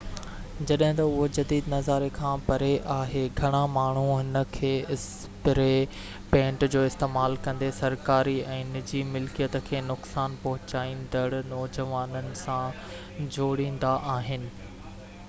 جڏهن تہ اهو جديد نظاري کان پري آهي گهڻا ماڻهو هن کي اسپري پينٽ جو استعمال ڪندي سرڪاري ۽ نجي ملڪيت کي نقصان پهچائيندڙ نوجوانن سان جوڙيندا آهن